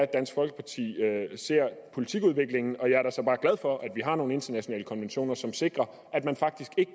dansk folkeparti ser politikudviklingen og jeg er da så bare glad for at vi har nogle internationale konventioner som sikrer at man faktisk ikke